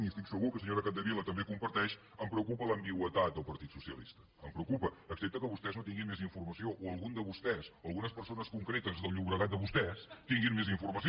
i que estic segur que la senyora capdevila també comparteix em preocupa l’ambigüitat del partit socialista em preocupa excepte que vostès no tinguin més informació o algun de vostès algunes persones concretes del llobregat de vostès tinguin més informació